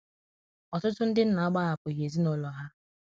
na agbanyeghi ,ọtụtu ndi nna agbahapughi ezinulọ ha.